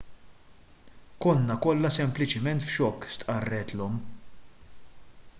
konna kollha sempliċement f'xokk stqarret l-omm